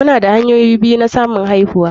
Muna da hanyoyi biyu na samun aihuwa.